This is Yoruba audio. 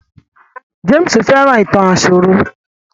James fẹ́ràn ìtàn àsòrọ